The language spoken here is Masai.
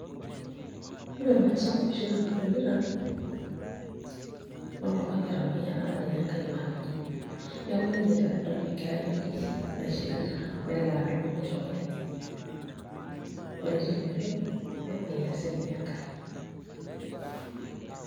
Ore Mike Sonko oshi nanu adolita, noltung'ani otamayiana apa ninye Enkai makeon. Neeku ninye tenedol enkerai okishi naishirita, nelo adumu nitaa olenye. Ore tina oitoi, nemayian sinye Enkai.